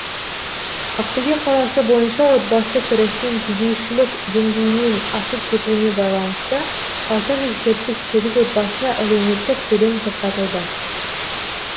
ақтөбе қаласы бойынша отбасы кірісінің кедейшілік деңгейінен асып кетуіне байланысты алты жүз жетпіс сегіз отбасына әлеуметтік төлем тоқтатылды